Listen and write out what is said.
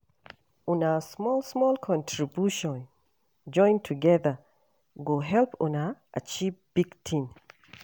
Una small-small contribution join togeda go help una achieve big tin.